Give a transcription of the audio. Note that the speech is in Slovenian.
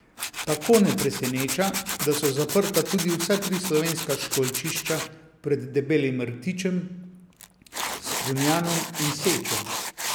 Tako ne preseneča, da so zaprta tudi vsa tri slovenska školjčišča pred Debelim rtičem, Strunjanom in Sečo.